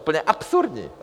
Úplně absurdní!